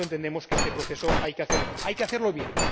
Por lo tanto, entendemos que este proceso hay que hacerlo bien.